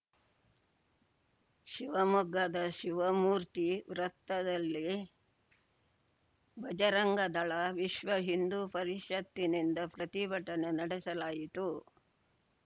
ಶಿವಮೊಗ್ಗದ ಶಿವಮೂರ್ತಿ ವೃತ್ತದಲ್ಲಿ ಭಜರಂಗ ದಳ ವಿಶ್ವ ಹಿಂದುಪರಿಷತ್ತಿನಿಂದ ಪ್ರತಿಭಟನೆ ನಡೆಸಲಾಯಿತು